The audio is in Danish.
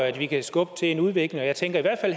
at vi kan skubbe til en udvikling jeg tænker at i